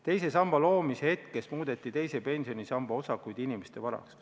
Teise samba loomise hetkest muudeti teise pensionisamba osakud inimeste varaks.